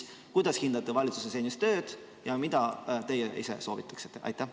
Ehk kuidas hindate valitsuse senist tööd ja mida teie ise soovitaksite?